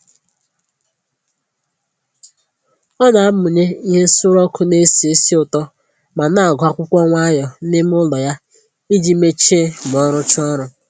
Ọ na amụnye ihe nsuru ọkụ na-esi ísì ụtọ ma na-agụ akwụkwọ nwayọ n'ime ụlọ ya iji mechie ma ọ rụchaa ọrụ